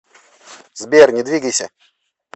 сбер не двигайся